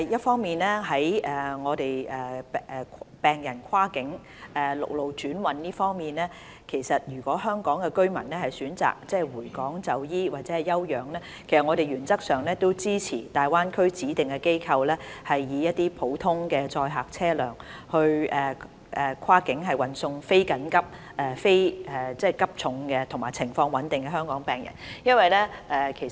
關於病人跨境陸路轉運方面，如果香港居民選擇回港就醫或休養，我們原則上支持大灣區的指定機構，以普通載客車輛跨境運送非緊急、非急重及病情穩定的香港病人回港。